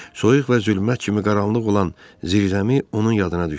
Soyuq və zülmət kimi qaranlıq olan zirzəmi onun yadına düşdü.